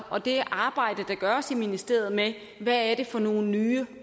og det arbejde der gøres i ministeriet med hvad det er for nogle nye